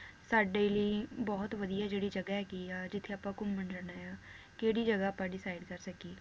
ਸਾਡੇ ਲਈ ਬਹੁਤ ਵਧੀਆ ਜਿਹੜੀ ਜਗਾਹ ਹੈਗੀ ਆ ਜਿਥੇ ਆਪਾਂ ਘੁੰਮਣ ਜਾਣਾ ਆ, ਕਿਹੜੀ ਜਗਾਹ ਆਪਾਂ decide ਕਰ ਸਕੀਏ